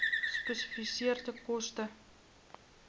gespesifiseerde koste